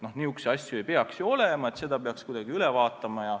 Niisuguseid asju ei tohiks olla, selle peaks kuidagi üle vaatama.